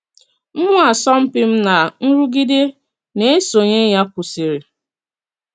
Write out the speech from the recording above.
Mmụọ asọmpi m na nrụgide nā-esonyè ya kwụsịrị.